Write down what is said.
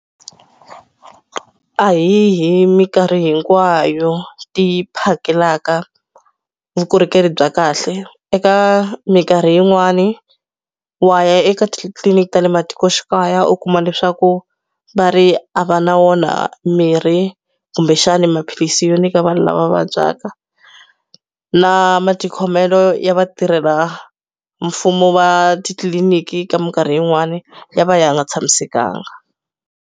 A hi hi minkarhi hinkwayo ti phakelaka vukorhokeri bya kahle. Eka minkarhi yin'wani, wa ya eka titliliniki ta le matikoxikaya u kuma leswaku va ri a va na wona mirhi kumbexani maphilisi yo nyika vanhu lava vabyaka. Na matikhomelo ya vatirhela mfumo va titliliniki ka minkarhi yin'wani, ya va ya nga tshamisekanga.